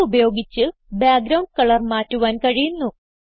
Hugh ഉപയോഗിച്ച് background colour മാറ്റുവാൻ കഴിയുന്നു